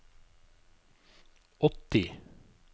åtti